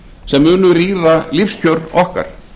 sem munu rýra lífskjör okkar